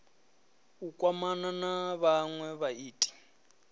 u kwamana na vhanwe vhaiti